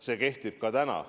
See kehtib ka täna.